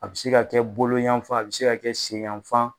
A bi se ka kɛ boloyanfan a bi se ka kɛ senyanfan.